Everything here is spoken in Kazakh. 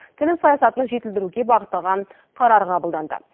тіл саясатын жетілдіруге бағытталған қарар қабылданды